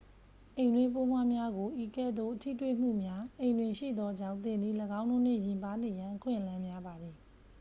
အိမ်တွင်းပိုးမွှားများကို ဤကဲ့သို့ ထိတွေ့မှုများ အိမ်တွင်ရှိသောကြောင့် သင်သည် ၎င်းတို့နှင့် ယဉ်ပါးနေရန် အခွင့်အလမ်းများပါသည်